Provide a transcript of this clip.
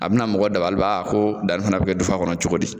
A bɛna mɔgɔ dabaliban ko danni fana bɛ kɛ dufa kɔnɔ cogo di?